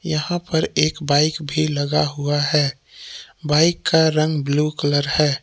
यहाँ पर एक बाइक भी लगा हुआ है। बाइक का रंग ब्लू कलर है।